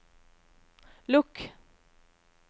lukk